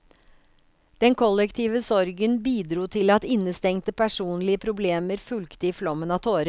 Den kollektive sorgen bidro til at innestengte, personlige problemer fulgte i flommen av tårer.